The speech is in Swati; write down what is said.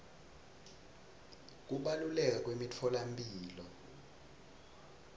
kubaluleka kwemitfolamphilo